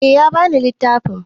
Eh ya ba ni littafin.